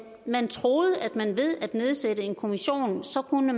man troede at man ved at nedsætte en kommission så kunne